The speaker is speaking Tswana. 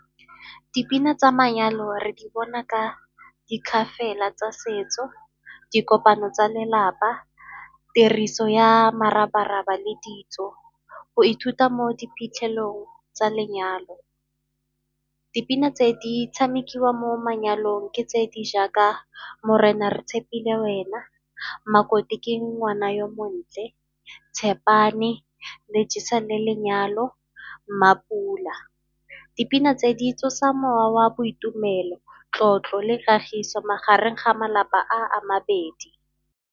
Dipina tsa manyalo re di bona ka dikgafela tsa setso, dikopano tsa lelapa, tiriso ya morabaraba le ditso, go ithuta mo di phitlhelelong tsa lenyalo. Dipina tse di tshamekiwa mo manyalong ke tse di jaaka Morena re tshepile wena, Makoti ke ngwana yo montle, Tshepane le jesane lenyalo, Mmapula. Dipina tse di tsosa mowa wa boitumelo, tlotlo le kagiso magareng ga malapa a a mabedi.